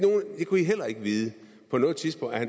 vide